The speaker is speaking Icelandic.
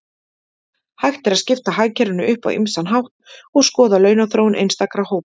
Hægt er að skipta hagkerfinu upp á ýmsan hátt og skoða launaþróun einstakra hópa.